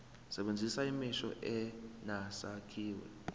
sebenzisa imisho enesakhiwo